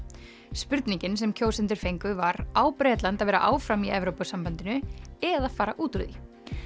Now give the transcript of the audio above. spurningin sem kjósendur fengu var á Bretland að vera áfram í Evrópusambandinu eða fara út úr því